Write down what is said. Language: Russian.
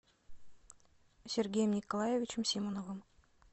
сергеем николаевичем симоновым